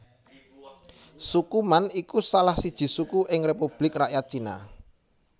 Suku Man iku salah siji suku ing Republik Rakyat Cina